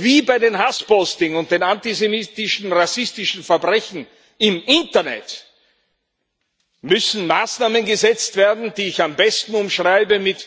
Wie bei den Hasspostings und den antisemitischen rassistischen Verbrechen im Internet müssen Maßnahmen gesetzt werden, die ich am besten umschreibe mit